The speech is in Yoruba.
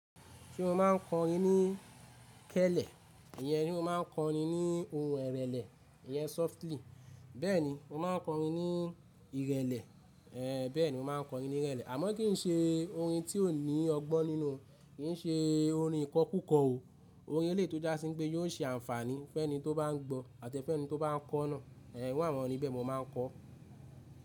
Se mo máa ń kọrin ní kẹ́lẹ́, ìyẹn se mo máa ń kọrin ní ohùn ìrẹlẹ ìyẹn softly. Bẹ́ẹ̀ni mo máa ń kọrin ní ìrẹlẹ, bẹ́ẹ̀ni mo máa ń kọrin ní ìrẹlẹ àmọ́ kì í ṣe orin tí ò ní ọgbọ́n nínú, kì í ṣe orin ìkọ kúkọ o. Orin eléyi to já sí pé yóò ṣe àǹfààní fẹ́ni tó bá n gbọ́ àti fẹ́ni tó bá n kọ́ náà. Ẹ̀ iru àwọn orin bẹ́ẹ̀ mo máa ń kọ.